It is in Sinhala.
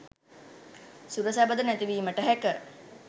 සුර සැපද නැති වීමට හැක